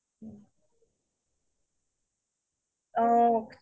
থলোৱা খাদ্য বুলি ক্'লে এনেয়ে লোভ লাগিয়ে যাই এটা